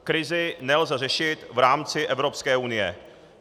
Krizi nelze řešit v rámci Evropské unie.